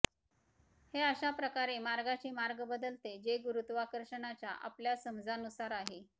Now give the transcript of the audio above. हे अशा प्रकारे मार्गाचे मार्ग बदलते जे गुरुत्वाकर्षणाच्या आपल्या समजानुसार आहे